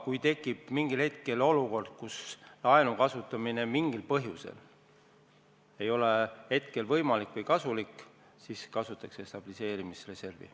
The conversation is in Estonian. Kui aga ühel hetkel tekib olukord, et laenu kasutamine mingil põhjusel ei ole võimalik või kasulik, siis kasutatakse stabiliseerimisreservi.